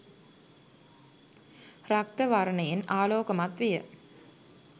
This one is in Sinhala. රක්ත වර්ණයෙන් ආලෝකමත් විය.